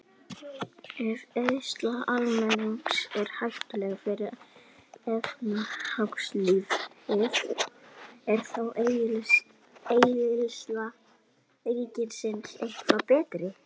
Ef eyðsla almennings er hættuleg fyrir efnahagslífið, er þá eyðsla ríkisins eitthvað betri?